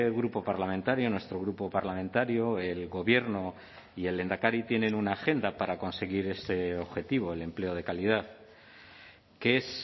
grupo parlamentario nuestro grupo parlamentario el gobierno y el lehendakari tienen una agenda para conseguir este objetivo el empleo de calidad que es